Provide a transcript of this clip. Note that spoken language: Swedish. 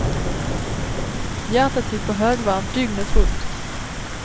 Hjärtat gick på högvarv dygnet runt.